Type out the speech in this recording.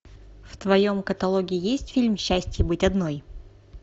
в твоем каталоге есть фильм счастье быть одной